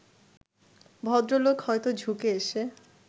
ভদ্রলোক হয়তো ঝুঁকে এসে